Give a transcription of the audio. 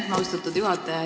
Aitäh, austatud juhataja!